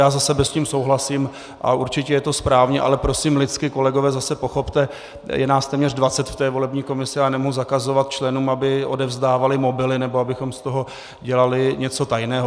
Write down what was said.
Já za sebe s tím souhlasím a určitě je to správně, ale prosím lidsky, kolegové, zase pochopte, je nás téměř 20 v té volební komisi a já nemohu zakazovat členům, aby odevzdávali mobily nebo abychom z toho dělali něco tajného.